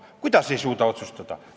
Kuidas ei suuda otsustada?